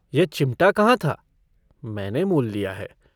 यह चिमटा कहाँ था मैंने मोल लिया है।